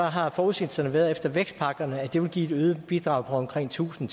har forudsigelserne været efter vækstpakkerne at det vil give et øget bidrag på omkring tusind